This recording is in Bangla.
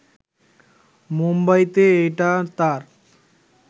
মুম্বাইতে এটা তাঁর